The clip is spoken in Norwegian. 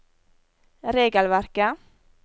regelverket